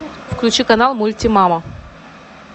включи канал мульти мама